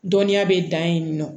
Dɔnniya bɛ dan yen nɔ